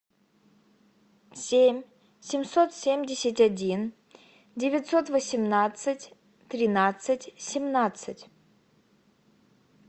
семь семьсот семьдесят один девятьсот восемнадцать тринадцать семнадцать